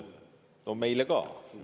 No meile ka.